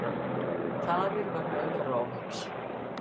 Tafir vegna umferðaróhapps